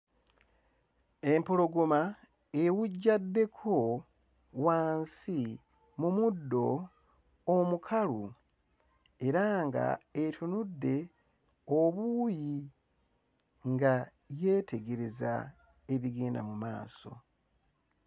Empologoma ewujjaddeko wansi mu muddo omukalu era nga etunudde obuuyi nga yeetegereza ebigenda mu maaso.